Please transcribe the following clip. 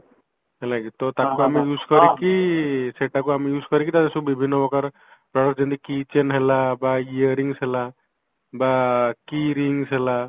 ହେଲା କି ତ ତାକୁ ଆମେ use କରିକି ସେଟାକୁ ଆମେ use କରିକି ତାକୁ ସବୁ ବିଭିନ୍ନ ପ୍ରକାର product ଯେମିତି key chain ହେଲା ବା ଇଏ rings ହେଲା ବା key rings ହେଲା